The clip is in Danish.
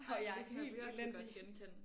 Ej det kan jeg virkelig godt genkende